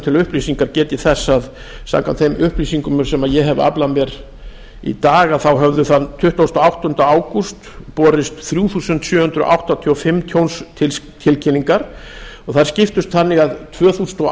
til upplýsingar get ég þess að samkvæmt þeim upplýsingum sem ég hef aflað mér í dag þá höfðu þann tuttugasta og áttunda ágúst borist þrjú þúsund sjö hundruð áttatíu og fimm tjónstilkynningar og þær skiptust þannig að tvö þúsund og